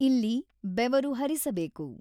ಇಲ್ಲಿ ಬೆವರು ಹರಿಸಬೇಕು.